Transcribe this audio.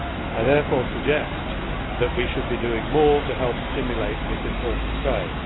I therefore suggest that we should be doing more to help stimulate this important trade.